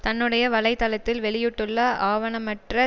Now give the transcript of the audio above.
தன்னுடைய வலை தளத்தில் வெளியிட்டுள்ள ஆவணமற்ற